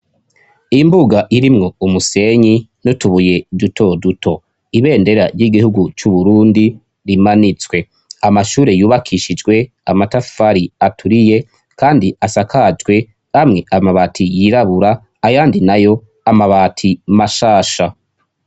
Imbuga irimwo umusenyi n'utubuye duto duto, ibendera ry'igihugu c'Uburundi rimanitswe. Amashure yubakishijwe amatafari aturiye kandi asakajwe amwe amabati yirabura ayandi nayo amabati mashasha.